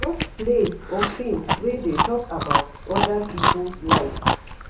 Watch plays or films wey dey talk about oda pipo lives